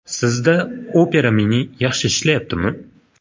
Sizda Opera Mini yaxshi ishlayaptimi?